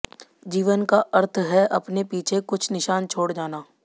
जीवन का अर्थ है अपने पीछे कुछ निशान छोड़ जाना